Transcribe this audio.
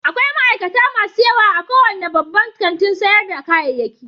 Akwai ma'aikata masu yawa a kowane babban kantin sayar da kayayyaki